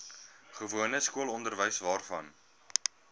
gewone skoolonderwys waarvan